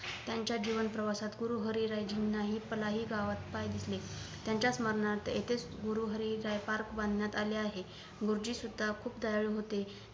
यांच्या जीवन प्रवासात गुरु हरी राय जिम्ना हि पालाही गावात पाय धुतले त्यांच्या स्मरणार्थ इथेच गुरु राय हरी पार्क बांधण्यात आले आहे गुरुजी सुद्धा खूप दयाळू होते